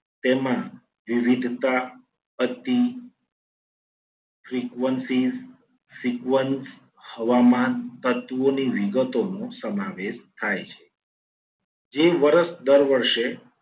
તેમાં વિવિધતા હતી. frequencies frequence હવામાન તત્વોની વિગતો નું સમાવેશ થાય છે. જે વર્ષ દર વર્ષે